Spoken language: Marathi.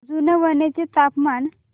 जुनवणे चे तापमान